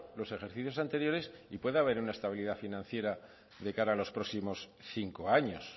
los ejercicios anteriores y pueda haber una estabilidad financiera de cara a los próximos cinco años